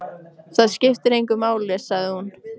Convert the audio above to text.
Það skiptir engu máli, sagði hún.